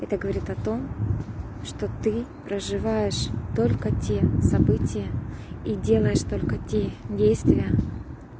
это говорит о том что ты проживаешь только те события и делаешь только те действия